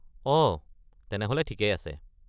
অ, তেনেহ’লে ঠিকেই আছে।